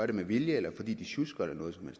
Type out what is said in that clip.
det med vilje eller fordi de sjusker eller noget som